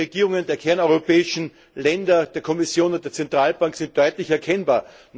Die Linie der Regierungen der kerneuropäischen Länder, der Kommission und der Zentralbank ist deutlich erkennbar.